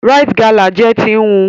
Rite Gala jẹ ti nhu.